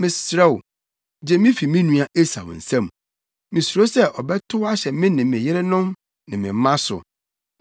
Mesrɛ wo, gye me fi me nua Esau nsam. Misuro sɛ ɔbɛtow ahyɛ me ne me yerenom ne me mma so.